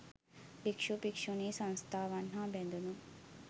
භික්ෂු, භික්ෂූණී සංස්ථාවන් හා බැඳුණු